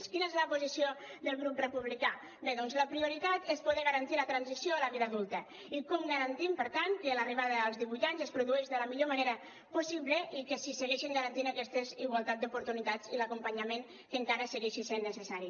quina és la posició del grup republicà bé doncs la prioritat és poder garantir la transició a la vida adulta i com garantim per tant que l’arribada als divuit anys es produeix de la millor manera possible i que se segueixin garantint aquesta igualtat d’oportunitats i l’acompanyament que encara segueixi sent necessari